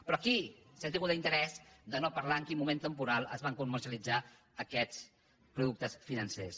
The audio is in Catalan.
però aquí s’ha tingut l’interès de no parlar de en quin moment temporal es van comercialitzar aquests productes financers